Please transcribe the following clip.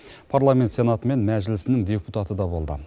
парламент сенаты мен мәжілісінің депутаты да болды